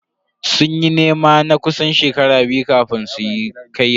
Sun yi nema na kusan shekaru biyu kafin su kayi aure.